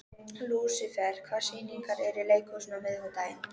Stórar flygsur liðuðust niður úr skýjunum þegar ég kom út.